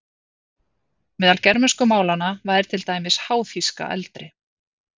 Meðal germönsku málanna væri til dæmis háþýska eldri.